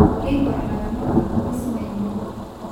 Keingor ilaramatak ing'uesin enye